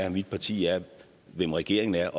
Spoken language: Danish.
og mit parti er hvem regeringen er